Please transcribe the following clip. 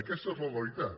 aquesta és la realitat